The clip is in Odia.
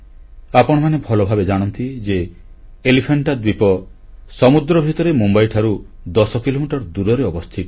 ଆପଣମାନେ ଭଲଭାବେ ଜାଣନ୍ତି ଯେ ଏଲିଫାଣ୍ଟା ଦ୍ୱୀପ ସମୁଦ୍ର ଭିତରେ ମୁମ୍ବାଇଠାରୁ 10 କିଲୋମିଟର ଦୂରରେ ଅବସ୍ଥିତ